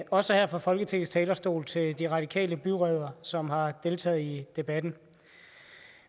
også her fra folketingets talerstol til de radikale byrødder som har deltaget i debatten